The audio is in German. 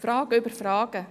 – Fragen über Fragen.